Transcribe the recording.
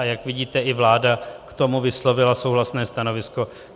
A jak vidíte, i vláda k tomu vyslovila souhlasné stanovisko.